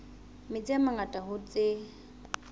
metsi a mangata hoo tse